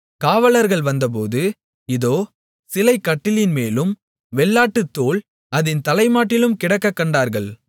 காவலர்கள் வந்தபோது இதோ சிலை கட்டிலின்மேலும் வெள்ளாட்டுத்தோல் அதின் தலைமாட்டிலும் கிடக்கக் கண்டார்கள்